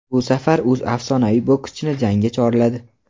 Bu safar u afsonaviy bokschini jangga chorladi;.